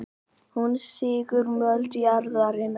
Hún sýgur mold jarðarinnar.